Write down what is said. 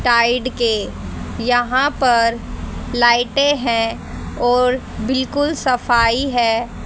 Tide के यहां पर लाइटे है और बिल्कुल सफाई है।